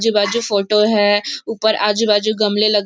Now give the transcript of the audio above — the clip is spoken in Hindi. आजू बाजु फोटो है ऊपर आजू बाजु गमले लगे --